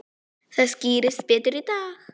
Það skýrist betur í dag.